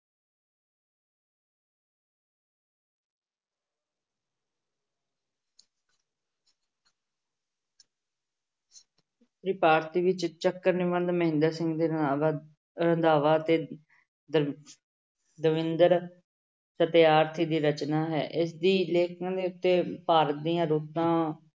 ਵਿੱਚ ਚੱਕਰ ਨਿਬੰਧ ਮਹਿੰਦਰ ਸਿੰਘ ਰੰਧਾਵਾ ਰੰਧਾਵਾ ਅਤੇ ਦ~ ਦਵਿੰਦਰ ਦੀ ਰਚਨਾ ਹੈ ਇਸਦੀ ਭਾਰਤ ਦੀਆਂ ਰੁੱਤਾਂ